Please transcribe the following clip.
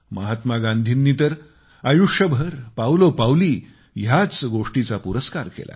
महात्मा गांधींनी तर आयुष्यभर पावलोपावली ह्याच गोष्टीचा पुरस्कार केला